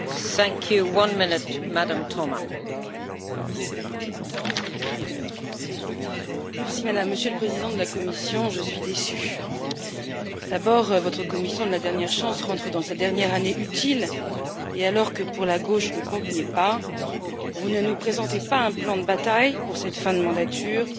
Madame la Présidente, Monsieur le Président de la Commission, je suis déçue. D'abord, votre Commission de la dernière chance rentre dans sa dernière année utile et alors que, pour la gauche, le compte n'y est pas, vous ne nous présentez pas un plan de bataille pour cette fin de mandature, mais une vision d'avenir.